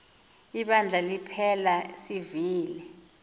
ibandla liphela sivile